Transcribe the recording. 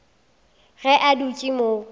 ge a dutše a mo